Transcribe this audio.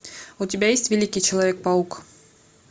у тебя есть великий человек паук